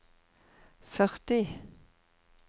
førti